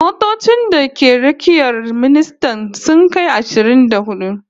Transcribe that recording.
Motocin da ke rakiyar ministan sun kai ashirin da hudu